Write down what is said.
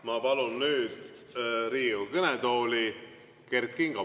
Ma palun nüüd Riigikogu kõnetooli Kert Kingo.